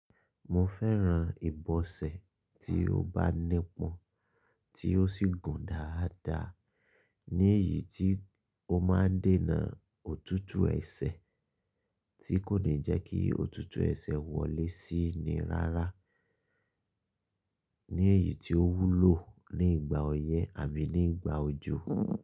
Mo fẹ́ran ìbọsẹ̀ tí ó bá nípọn, tí ó sì gùn dáadáa, ní eyì tí ó máa ń dènà òtútù ẹsẹ̀, tí kò ní jẹ́ kí òtútù ẹsẹ̀ wọlé síi ni rárá, ní eyì tí ó wúlò ní ìgbà ọyẹ́ àbí ní ìgbà òjò.